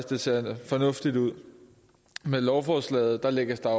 det ser fornuftigt ud med lovforslaget lægges der